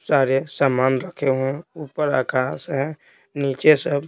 सारे सामान रखे हुए हैं ऊपर आकाश है नीचे सब--